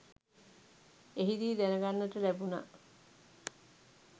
එහිදී දැනගන්නට ලැබුණ